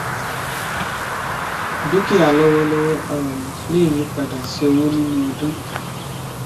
dúkìá lówólówó um lè yípadà sí owó nínú ọdún